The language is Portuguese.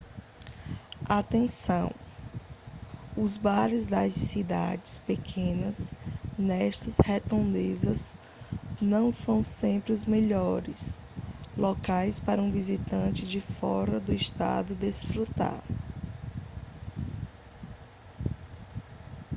atenção os bares das cidades pequenas nestas redondezas não são sempre os melhores locais para um visitante de fora do estado desfrutar